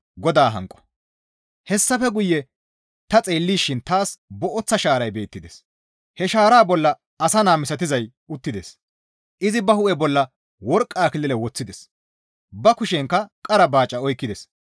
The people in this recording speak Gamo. Hessafe guye ta xeellishin taas booththa shaaray beettides; he shaaraa bolla asa naa misatizay uttides; izi ba hu7e bolla worqqa akilile woththides; ba kushenkka qara baaca oykkides.